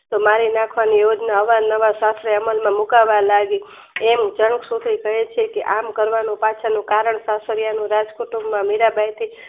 મારીનાખ વાની યોજના અવાર નવાર અમલમાં મુકા વા લાગી એમ તન કહેછે કે આમ કરવાનું પિચ્છનું કારણ પાછળ રાજકુટુંબમાં મીરાંબાઈ થી